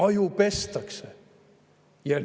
Ajupestakse!